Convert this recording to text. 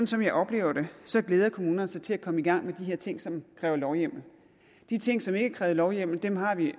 som jeg oplever det glæder kommunerne sig til at komme i gang med de her ting som kræver lovhjemmel de ting som ikke har krævet lovhjemmel har vi